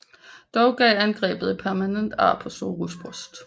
Dog gav angrebet et permanent ar på Zorros bryst